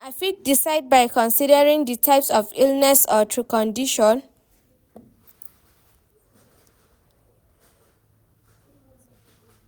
I fit decide by considering di type of illness or condition.